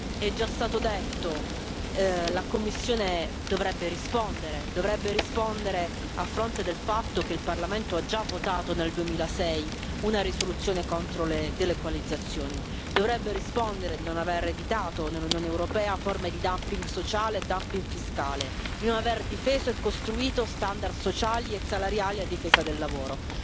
È già stato detto la Commissione dovrebbe rispondere a fronte del fatto che il Parlamento ha già votato nel 2006 una risoluzione contro le delocalizzazioni, dovrebbe rispondere di non aver evitato nell'Unione europea forme di dumping sociale e dumping fiscale, di non aver difeso e costruito standard sociali e salariali a difesa del lavoro.